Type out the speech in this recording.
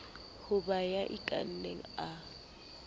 ho ba ya ikanang a